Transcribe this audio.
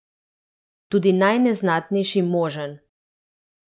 Tudi najneznatnejši možen!